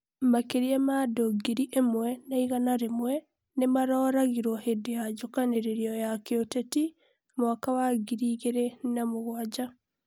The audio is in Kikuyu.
Makĩria ma andũ ngiri ĩmwe na igana rĩmwe, nĩmaroragirwo hĩndĩ ya njukanĩrĩro ya kĩ ũteti mwaka wa ngiri igĩrĩ na mũgwanja